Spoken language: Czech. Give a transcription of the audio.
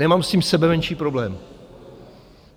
Nemám s tím sebemenší problém.